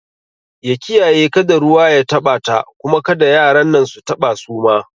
Ya kiyaye kada ruwa ya taɓa ta kuma kada yaran nan su taba suma